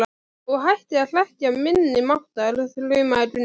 Og hættir að hrekkja minni máttar, þrumaði Gunni.